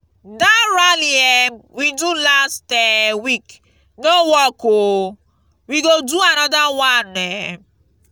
dat rally um we do last um week no work oo we go do another one um